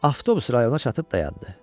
Avtobus rayona çatıb dayandı.